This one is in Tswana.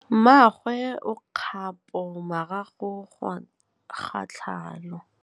Mmagwe o kgapô morago ga tlhalô.